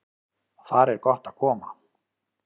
Þar er gott að koma.